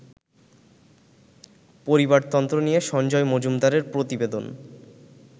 পরিবারতন্ত্র নিয়ে সঞ্জয় মজুমদারের প্রতিবেদন